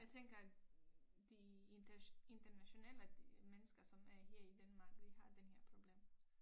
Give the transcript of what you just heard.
Jeg tænker de internationale mennesker som er her i Danmark de har den her problem